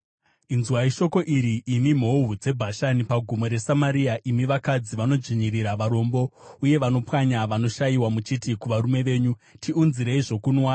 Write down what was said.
Inzwai shoko iri, imi mhou dzeBhashani paGomo reSamaria, imi vakadzi vanodzvinyirira varombo uye vanopwanya vanoshayiwa muchiti kuvarume venyu, “Tiunzirei zvokunwa.”